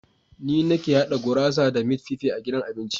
Ni nake haɗa gurasa da mit fife a gidan abincin.